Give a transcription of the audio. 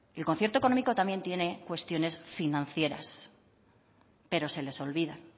el concierto económico también tiene cuestiones financieras pero se les olvida